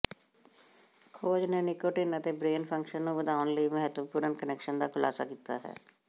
ਖੋਜ ਨੇ ਨਿਕੋਟਿਨ ਅਤੇ ਬ੍ਰੇਨ ਫੰਕਸ਼ਨ ਨੂੰ ਵਧਾਉਣ ਲਈ ਮਹੱਤਵਪੂਰਣ ਕਨੈਕਸ਼ਨ ਦਾ ਖੁਲਾਸਾ ਕੀਤਾ ਹੈ